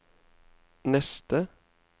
neste